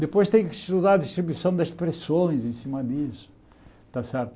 Depois tem que estudar a distribuição das pressões em cima disso, está certo?